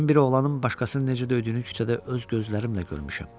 Mən bir oğlanın başqasını necə döydüyünü küçədə öz gözlərimlə görmüşəm.